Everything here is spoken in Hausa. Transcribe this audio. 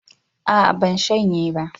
A'a ban shanye ba